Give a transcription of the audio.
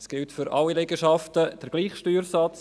Es gilt für alle Liegenschaften derselbe Steuersatz.